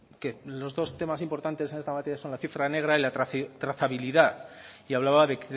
que los dos temas importantes en esta materia son la cifra negra y la trazabilidad y hablaba de